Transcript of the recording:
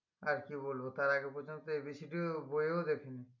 আর কি বলবো তার আগে পর্যন্ত A B C D এর বই ও দেখিনি